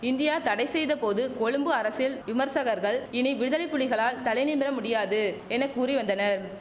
India தடை செய்த போது கொழும்பு அரசில் விமர்சகர்கள் இனி விடுதலைப்புலிகளால் தலைநிமிர முடியாது என கூறி வந்தனர்